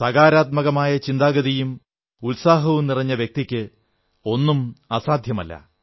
സകാരാത്മകമായ ചിന്താഗതിയും ഉത്സാഹവും നിറഞ്ഞ വ്യക്തിക്ക് ഒന്നും അസാധ്യവുമല്ല